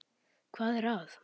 Hvað er að?